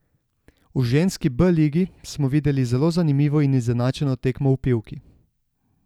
V ženski B ligi smo videli zelo zanimivo in izenačeno tekmo v Pivki.